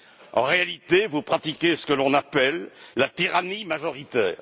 En réalité, vous pratiquez ce que l'on appelle la tyrannie majoritaire.